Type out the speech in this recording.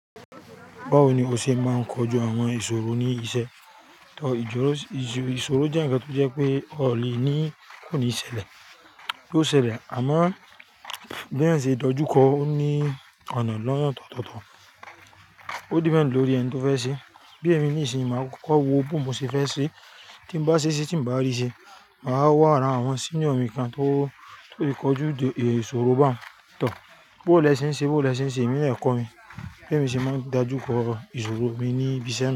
Báwo ni o ṣe máa ń kojú àwọn ìṣòro ní iṣẹ́? Ìṣòro jẹ́ ǹkan tó jẹ́ pé ọ le ni kò ní ṣẹlẹ̀ yoo ṣẹlẹ̀, àmọ́ bí èèyàn o ṣe dojúkọ ó ní ọ̀nà lọ́nà ọ̀tọ̀ọ̀tọ̀. Ó depend lórí ẹni tó fẹ́ ṣe. Bí èmi ní ìsinyìí máa kọ́kọ́ wo bo ni mo ṣe fẹ́ ṣe, ti n bá ṣe ṣe tí n bá rí i ṣe. Màá wá ara àwọn senior mi kan tó lè kojú ìṣòro bá, tọh. Bó ìlẹ̀ ṣe ń ṣe, bó ìlẹ̀ ṣe ń ṣe èmi lè kọ́ ẹ mi. Bí èmi ṣe máa ń dájú kọ ìṣòro mi níbi iṣẹ́ mi.